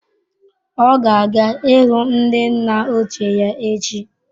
Ọ ga-aga ịhụ ndi nna ochie ya echi.